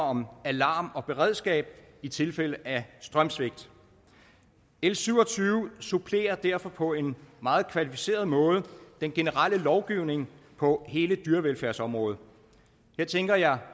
om alarm og beredskab i tilfælde af strømsvigt l syv og tyve supplerer derfor på en meget kvalificeret måde den generelle lovgivning på hele dyrevelfærdsområdet her tænker jeg